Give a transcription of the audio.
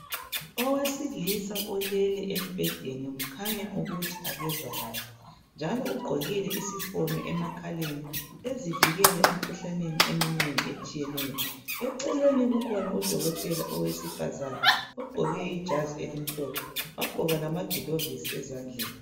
owesilisa olele embhedeni kukhanya ukuthi akezwa kahle njalo ugqokile isifonyo emakhaleni ezivikela emkhuhlaneni eminengi etshiyeneyo eceleni kukhina udokotela owesifazana ogqoke ijazi elimhlophe wagqoka lamagilovisi ezandleni